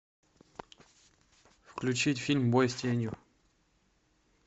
включить фильм бой с тенью